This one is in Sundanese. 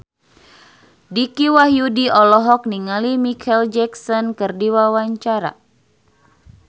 Dicky Wahyudi olohok ningali Micheal Jackson keur diwawancara